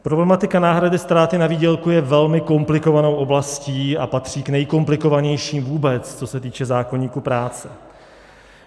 Problematika náhrady ztráty na výdělku je velmi komplikovanou oblastí a patří k nejkomplikovanější vůbec, co se týče zákoníku práce.